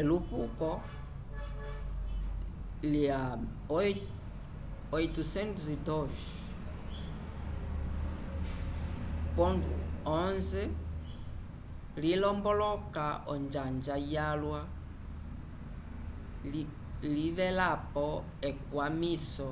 elupuko lya 802.11n lilomboloka onjanga yalwa livelapo ekwamiso